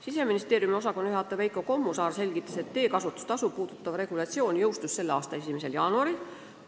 Siseministeeriumi osakonnajuhataja Veiko Kommusaar selgitas, et teekasutustasu puudutav regulatsioon jõustus selle aasta 1. jaanuaril.